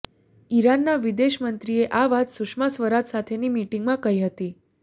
ઈરાનના વિદેશ મંત્રીએ આ વાત સુષ્મા સ્વરાજ સાથેની મીટીંગમાં કહી હતી